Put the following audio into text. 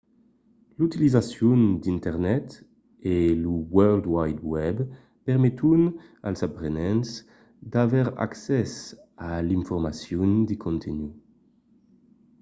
l’utilizacion d’internet e lo world wide web permeton als aprenents d’aver accès a l’informacion de contunh